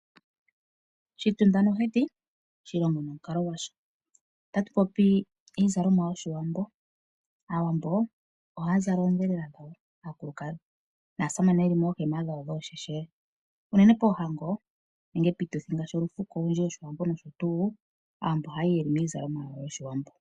Oshitunda nohedhi, oshilongo nomukalo gwasho. Otatu popi iizalomwa yOshiwambo. Aawambo yaakulukadhi ohaya zala oondhelela dhawo, naasamane ye li moohema dhawo dhoosheshele. Unene poohango nenge piituthi yOshiwambo ngaashi olufuko nosho tuu, aantu oha ya yi ye li miizalomwa yOshiwambo.